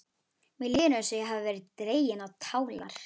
Mér líður eins og ég hafi verið dregin á tálar.